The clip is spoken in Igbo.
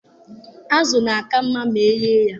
Azụ na-aka mma ma eghe ya